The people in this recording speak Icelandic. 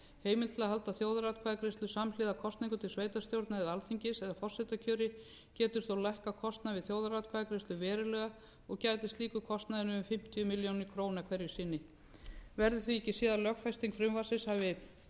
heimild til að halda þjóðaratkvæðagreiðslu samhliða kosningum til sveitarstjórna eða alþingis eða forsetakjöri geti þó lækkað kostnað við þjóðaratkvæðagreiðslu verulega og gæti slíkur kostnaður numið um fimmtíu milljónir króna eru sinni verður því ekki séð að lögfesting frumvarpsins